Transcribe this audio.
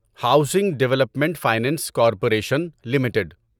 housing Development Finance Corporation limited